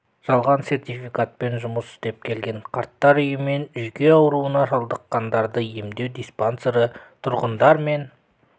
жалған сертификатпен жұмыс істеп келген қарттар үйі мен жүйке ауруына шалдыққандарды емдеу диспансері тұрғындар мен